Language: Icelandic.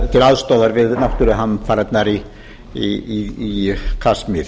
til aðstoðar við náttúruhamfarirnar í kasmír